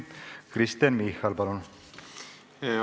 Kristen Michal, palun!